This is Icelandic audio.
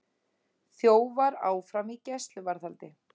Þjófar áfram í gæsluvarðhaldi